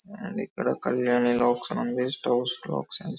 and ఇక్కడ Kalyani clocks అని ఉంది --